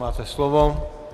Máte slovo.